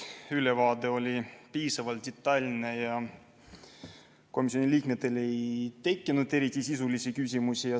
Ülevaade oli piisavalt detailne ja komisjoni liikmetel ei tekkinud eriti sisulisi küsimusi.